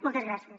moltes gràcies